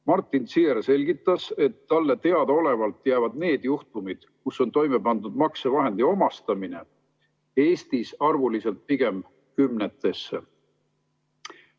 Martin Ziehr selgitas, et talle teadaolevalt piirdub nende juhtumite arv, kus on toime pandud maksevahendi omastamine, Eestis pigem kümnetega.